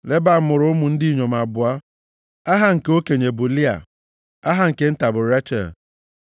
Leban mụrụ ụmụ ndị inyom abụọ. Aha nke okenye bụ Lịa. Aha nke nta bụ Rechel.